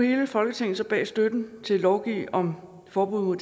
hele folketinget så bag støtten til at lovgive om forbud mod